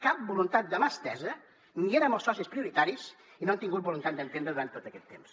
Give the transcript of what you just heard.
cap voluntat de mà estesa ni érem els socis prioritaris i no han tingut voluntat d’entesa durant tot aquest temps